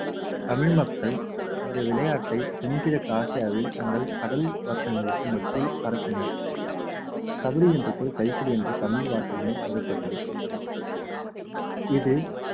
தமிழ் மக்கள் இந்த விளையாட்டை தென்கிழக்கு ஆசியாவில் தங்கள் கடல் வட்டங்களுக்கு மத்தியில் பரப்பினர் கபடி என்ற சொல் கைப்புடி என்ற தமிழ் வார்த்தையும் பெறப்பட்டது இது